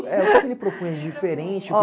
O que que ele propunha diferente? Óh...